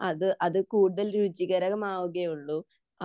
അത് കൂടുതൽ രുചികരമാവുകയേ ഉള്ളൂ